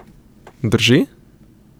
Drži?